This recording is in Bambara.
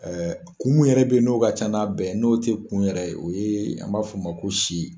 kun mun yɛrɛ be yen n'o ka ca n'a bɛɛ ye, n'o tɛ kun yɛrɛ ye, o ye an b'a f'o ma ko si.